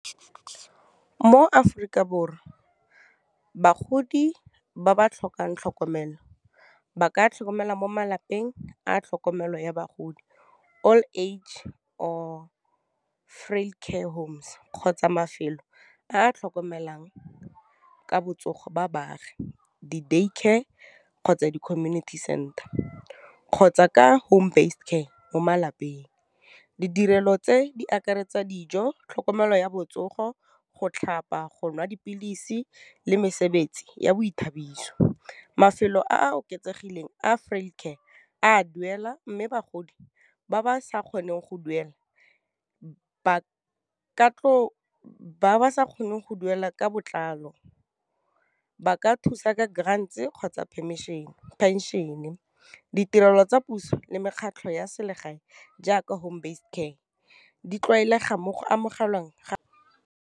Mo Aforika Borwa, bagodi ba ba tlhokang tlhokomelo, ba ka tlhokomelwa mo malapeng a tlhokomelo ya bagodi Old age or Freecare Homes, kgotsa mafelo a a tlhokomelang ka botsogo ba baagi, di Daycare, kgotsa di community center, kgotsa ka home basedcare mo malapeng. Ditirelo tse di akaretsa dijo, tlhokomelo ya botsogo, go tlhapa, go nwa dipilisi, le mesebetsi ya boithabiso. Mafelo a a oketsegileng Freecare, a duela mme bagodi ba ba sa kgoneng go duela ka botlalo ba ka thusa ka grand kgotsa phenšene. Ditirelo tsa puso le mekgatlho ya selegae jaaka home basedcare di tlwaelega mmogo amogelwang ga .